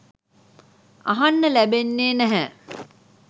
අහන්න ලැබෙන්නෙ නැහැ.